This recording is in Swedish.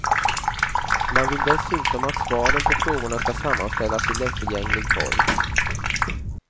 Man vill dessutom att svaren på frågorna ska sammanställas i lättillgänglig form.